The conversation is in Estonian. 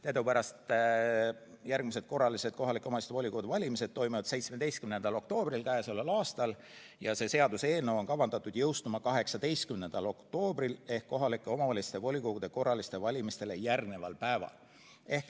Teadupärast toimuvad järgmised korralised kohalike omavalitsuste volikogude valimised 17. oktoobril k.a ja see seaduseelnõu on kavandatud jõustuma 18. oktoobril ehk kohalike omavalitsuste volikogude korralistele valimistele järgneval päeval.